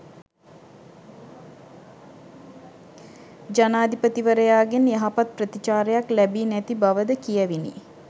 ජනාධිපතිවරයාගෙන් යහපත් ප්‍රතිචාරයක් ලැබී නැති බවද කියැවිණි